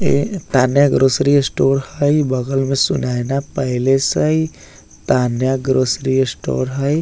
इ Tanya grocery store हई बगल में सुनैना पैलेस हई तान्या ग्रॉसरी स्टोर हई।